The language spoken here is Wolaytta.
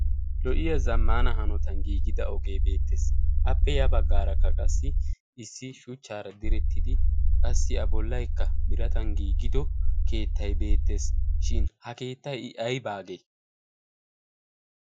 Lo"iya zammaana hanotan giigida ogee beettees. Appe yabaggaarakka qassi issi shuchchaara direttidi qassi A bollaykka biratan giigido keettay beettees. Shin ha keettay I aybaagee?